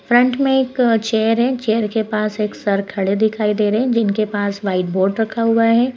Front में एक chair है। चेयर के पास एक सर खड़े दिखाई दे रहे हैं जिनके पास व्हाइट बोर्ड रखा हुआ है।